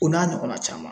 O n'a ɲɔgɔnna caman